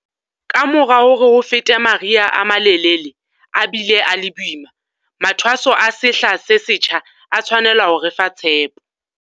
Kamora hore ho fete mari ha a malelele a bile a le boima, mathwaso a sehla se setjha a tshwanela ho re fa tshepo.